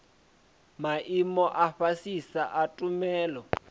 maimo a fhasisa a tshumelo